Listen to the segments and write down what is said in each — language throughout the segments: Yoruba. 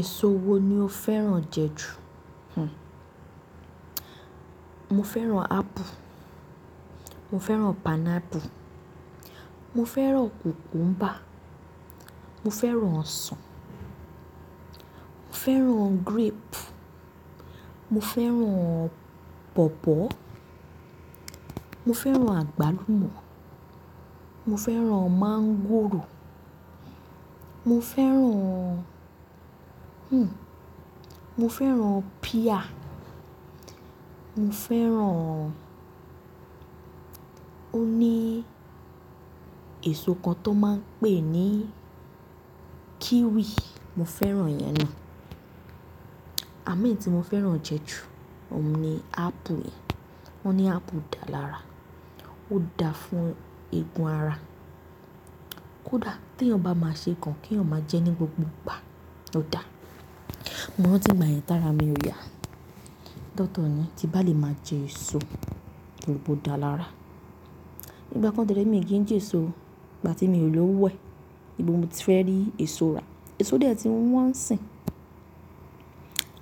Èso wo ni o fẹ́ràn jẹ jù? Hmm. Mo fẹ́ràn apple, mo fẹ́ràn pineapple, mo fẹ́ràn cucumber, mo fẹ́ràn ọsàn, mo fẹ́ràn grape, mo fẹ́ràn pawpaw mo fẹ́ràn àgbálùmọ̀, mo fẹ́ràn mangòrò, mo fẹ́ràn, hmn. Mo fẹ́ràn pear, mo fẹ́ràn, o ní èso kan tó máa ń pè ní kiwi, mo fẹ́ràn iyẹn na. Àmo ẹ̀yì tí mo fẹ́ràn jẹ jù, òun ni apple yen Wọ́n ní apple dá lára, ó dáa fún egun ara, ó dáa tí eeyan bá máa ṣe kàn, kí eeyan máa jẹ ní gbogbo ìgbà, ó dáa. Mo rantí nìgbà yẹn tára mi ò yá. Doctor ni tí ba lè máa jẹ èso tori pe o dáa lára. Nígbà kan dẹ́ re mi kì í jẹ èso, ìgbà tí mi ò lọwo ẹ̀, ibo mo ti fẹ́ rí èso rà. Èso dẹ̀ tí wọn ń sìn.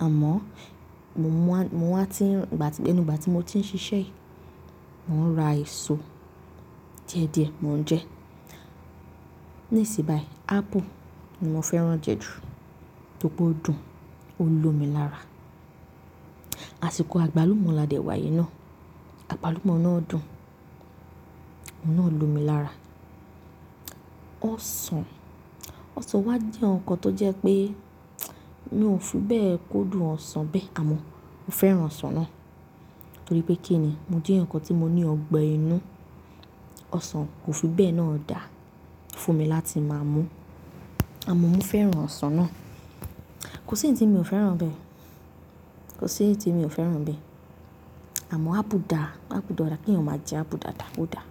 Àmọ́ mo mú a, mo wáa ti ń, ìgbà tí, ẹnu igbà tí mo ti ń ṣiṣẹ́ yìí, mò ń ra èso díẹ̀díẹ̀ mò ń jẹ. Nísìn bayí apple ni mo fẹ́ràn jẹ jù, tóri pe odùn, ó lo mi lára. Àsìkò àgbálùmọ́ là dé wá yi náà. Àgbálùmọ́ náà dùn, oun náà lo mi lára. Ọsàn, ọsàn wá jẹ́ ǹkan tó jẹ́ pé mi ò fi bẹ́ẹ̀ kó dùn ọsàn bẹ́ẹ̀. Àmọ́ mo fẹ́ràn ọsàn náà, torí pé kíni mo jẹ eeyan kan tí mo ní ọgbẹ inú. Ọsàn kò fi bẹ́ẹ̀ náà dáa fún mi láti máa mú. Àmọ́ mo fẹ́ràn ọsàn náà. Kò sí eyiti mi ò fẹ́ràn n bẹ́ẹ̀. Kò sí ǹti mi ò fẹ́ràn bẹ́ẹ̀. Àmọ́ apple dáa, apple dára kí eeyan jẹ apple dáadáa, ó dáa.